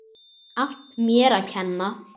Allt mér að kenna.